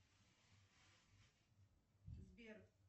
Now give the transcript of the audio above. сбер